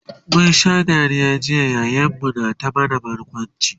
mun Sha Dariya jiya yayan mu na ta mana barkwanci